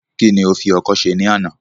Kí ni o fi ọkọ́ ṣe ní àná?